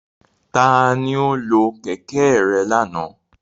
Tani o lo kẹ̀kẹ́ rẹ lana?